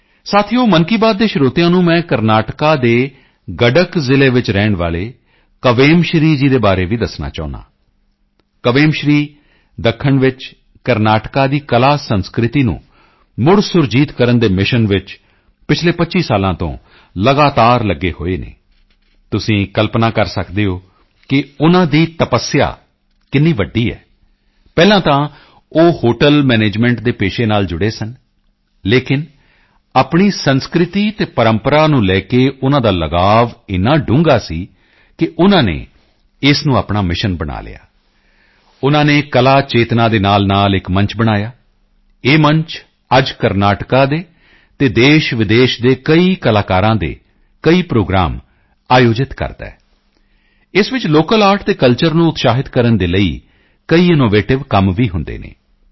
ਸਾਥੀਓ ਮਨ ਕੀ ਬਾਤ ਦੇ ਸਰੋਤਿਆਂ ਨੂੰ ਮੈਂ ਕਰਨਾਟਕਾ ਦੇ ਗਡਕ ਜ਼ਿਲ੍ਹੇ ਵਿੱਚ ਰਹਿਣ ਵਾਲੇ ਕਵੇਮ ਸ਼੍ਰੀ ਜੀ ਬਾਰੇ ਵੀ ਦੱਸਣਾ ਚਾਹੁੰਦਾ ਹਾਂ ਕਵੇਮ ਸ਼੍ਰੀ ਦੱਖਣ ਵਿੱਚ ਕਰਨਾਟਕਾ ਦੀ ਕਲਾਸੰਸਕ੍ਰਿਤੀ ਨੂੰ ਮੁੜਸੁਰਜੀਤ ਕਰਨ ਦੇ ਮਿਸ਼ਨ ਵਿੱਚ ਪਿਛਲੇ 25 ਸਾਲਾਂ ਤੋਂ ਲਗਾਤਾਰ ਲਗੇ ਹੋਏ ਹਨ ਤੁਸੀਂ ਕਲਪਨਾ ਕਰ ਸਕਦੇ ਹੋ ਕਿ ਉਨ੍ਹਾਂ ਦੀ ਤਪੱਸਿਆ ਕਿੰਨੀ ਵੱਡੀ ਹੈ ਪਹਿਲਾਂ ਤਾਂ ਉਹ ਹੋਟਲ ਮੈਨੇਜਮੈਂਟ ਦੇ ਪੇਸ਼ੇ ਨਾਲ ਜੁੜੇ ਸਨ ਲੇਕਿਨ ਆਪਣੀ ਸੰਸਕ੍ਰਿਤੀ ਅਤੇ ਪਰੰਪਰਾ ਨੂੰ ਲੈ ਕੇ ਉਨ੍ਹਾਂ ਦਾ ਲਗਾਅ ਏਨਾ ਡੂੰਘਾ ਸੀ ਕਿ ਉਨ੍ਹਾਂ ਨੇ ਇਸ ਨੂੰ ਆਪਣਾ ਮਿਸ਼ਨ ਬਣਾ ਲਿਆ ਉਨ੍ਹਾਂ ਨੇ ਕਲਾ ਚੇਤਨਾ ਦੇ ਨਾਲਨਾਲ ਇੱਕ ਮੰਚ ਬਣਾਇਆ ਇਹ ਮੰਚ ਅੱਜ ਕਰਨਾਟਕਾ ਦੇ ਅਤੇ ਦੇਸ਼ਵਿਦੇਸ਼ ਦੇ ਕਈ ਕਲਾਕਾਰਾਂ ਦੇ ਕਈ ਪ੍ਰੋਗਰਾਮ ਆਯੋਜਿਤ ਕਰਦਾ ਹੈ ਇਸ ਵਿੱਚ ਲੋਕਲ ਆਰਟ ਅਤੇ ਕਲਚਰ ਨੂੰ ਉਤਸ਼ਾਹਿਤ ਕਰਨ ਦੇ ਲਈ ਕਈ ਇਨੋਵੇਟਿਵ ਕੰਮ ਵੀ ਹੁੰਦੇ ਹਨ